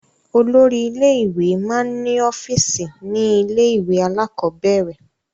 Olórí ilé-ìwé máa ń ọ́fíísì ní ilé-ìwé alákọ̀ọ́bẹ̀rẹ̀.